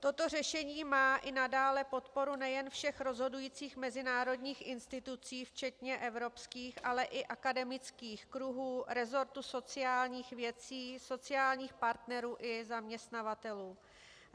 Toto řešení má i nadále podporu nejen všech rozhodujících mezinárodních institucí včetně evropských, ale i akademických kruhů, resortu sociálních věcí, sociálních partnerů i zaměstnavatelů.